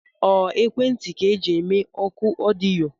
Ọ ekwentị ka eji eme ọkụ ọdịyo?